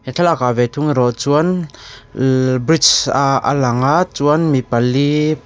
thlalakah ve thung erawh chuan bridge aa a lang a chuan mi pali --